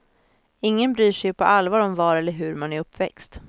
Ingen bryr sig ju på allvar om var eller hur man är uppväxt.